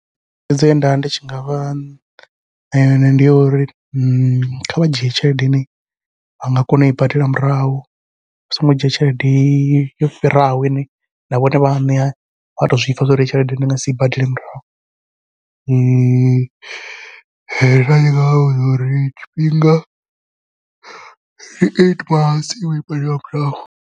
Thaidzo ye ndavha ndi tshi ngavha ṋea yone ndi ya uri kha vha dzhie tshelede ine vhanga kona ui badela murahu, vha songo dzhia tshelede yo fhiraho ine na vhone vhaṋe vha to zwi pfha zwori tshelede ndi nga si badele murahu nda tshi ngavha vhudza uri tshifhinga ndi eight months ui badela murahu.